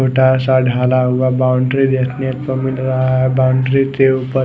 छोटा सा ढाला हुआ बाउंड्री देखने को मिल रहा है बाउंड्री के उपर--